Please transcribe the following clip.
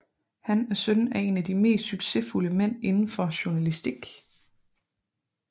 Han er søn af en af de mest succesfulde mænd indenfor journalastik